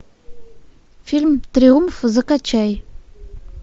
фильм триумф закачай